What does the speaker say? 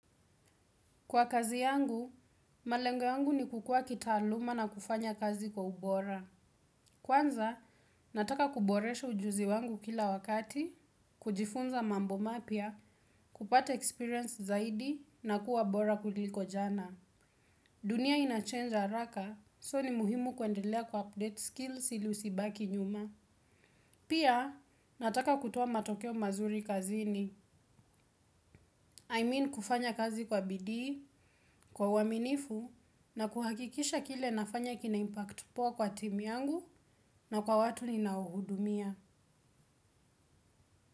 Kwa kazi yangu, malengo yangu ni kukua kitaaluma na kufanya kazi kwa ubora. Kwanza, nataka kuboresha ujuzi wangu kila wakati, kujifunza mambo mapya, kupata experience zaidi na kuwa bora kuliko jana. Dunia ina change haraka, so ni muhimu kuendelea ku update skills ili usibaki nyuma. Pia nataka kutoa matokeo mazuri kazini, I mean kufanya kazi kwa bidii, kwa uaminifu na kuhakikisha kile nafanya kina impact poa kwa timu yangu na kwa watu ninaohudumia.